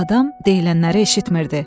Adam deyilənləri eşitmirdi.